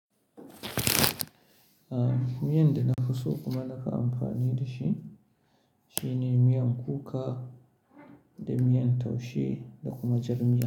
Aaa, miyan da na nafi so kuma nafi amfani da shi shine miyan kuka da miyan taushe da kuma jar miya.